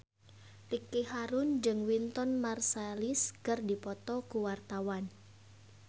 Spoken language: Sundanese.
Ricky Harun jeung Wynton Marsalis keur dipoto ku wartawan